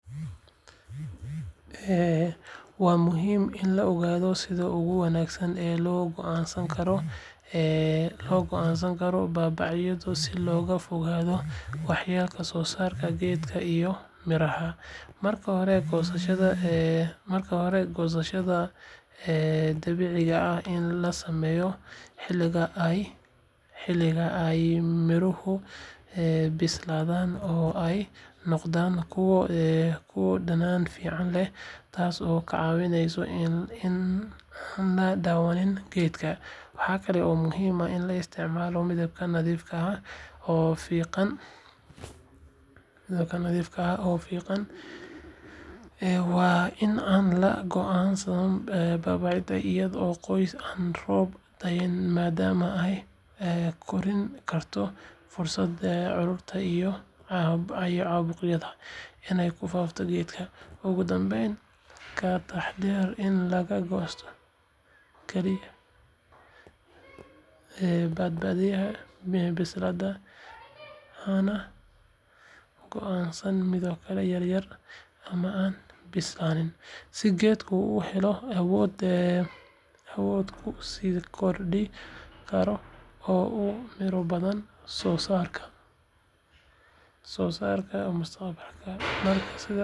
Waa muhiim in la ogaado sida ugu wanaagsan ee loo goosan karo baabacada si looga fogaado waxyeelo soo gaarta geedka iyo midhaha. Marka hore, goosashada baabacada waa in la sameeyaa xilliga ay midhuhu bislaadeen oo ay noqdeen kuwo dhadhan fiican leh, taasoo ka caawinaysa in aan la dhaawicin geedka. Waxa kale oo muhiim ah in la isticmaalo mindi nadiif ah oo fiiqan si jarista looga dhigo mid sahlan oo aan geedka dhibin. Jarista waa in lagu sameeyaa meel ka fog laamaha waaweyn, si aysan u jabin ama u dumin qeybaha kale ee geedka. Intaa waxaa dheer, waa in aan la goosan baabacada iyadoo qoyan ama roob da’aya, maadaama ay kordhin karto fursada cudurada iyo caabuqyada inay ku faaftaan geedka. Ugu dambeyn, ka taxaddar in la goosto kaliya baabacada bislaatay, hana goosan midho yaryar ama aan bislaan, si geedka uu u helo awood uu ku sii kori karo oo uu miro badan soo saaro mustaqbalka. Marka sidaas la sameeyo, geedka baabacada wuxuu noqon doonaa mid caafimaad qaba oo miro badan leh, adiguna waxaad ka fogaan doontaa waxyeelo kasta oo dhici karta.